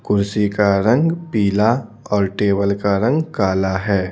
कुर्सी का रंग पीला और टेबल का रंग काला है।